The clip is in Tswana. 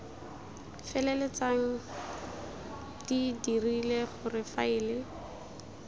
feleltsang di dirile gore faele